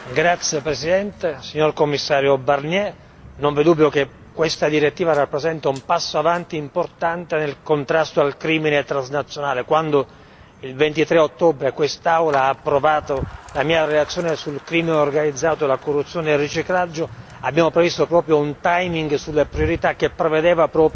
Signora Presidente, onorevoli colleghi, signor Commissario Barnier, non vi è dubbio che questa direttiva rappresenta un passo avanti importante nel contrasto al crimine transnazionale. Quando, il 23 ottobre, quest'Aula ha approvato la mia relazione sul crimine organizzato, la corruzione e il riciclaggio, abbiamo previsto proprio un sulle priorità che prevedeva